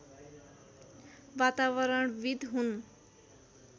वातावरणविद् हुन्